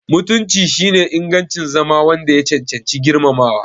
Mutunci shine ingancin zama wanda ya cancanci girmamawa.